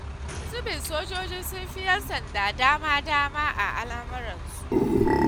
Wani zubin sojoji sun fi 'yan sanda dama-dama a al'amuransu.